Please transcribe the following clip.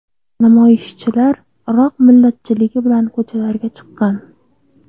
Namoyishchilar Iroq millatchiligi bilan ko‘chalarga chiqqan.